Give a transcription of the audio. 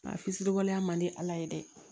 Nka fili waleya man di ala ye dɛ